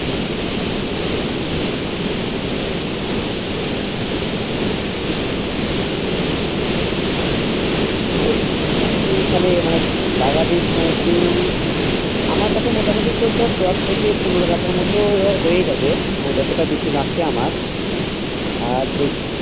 তো মানে তুই তাহলে লাগাবি মানে তুই আমার কাছে মোটামুটি তোর দর দশ থেকে পনেরো কাঠার মত ধর হয়ে যাবে মানে যতটা বিছন আছে আমার আর যে